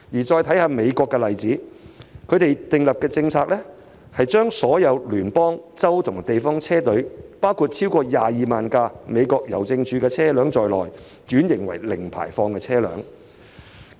再看美國的例子，當地訂立的政策是把所有聯邦、州及地方車隊，包括超過22萬輛美國郵政署的車輛，轉型為零排放的車輛。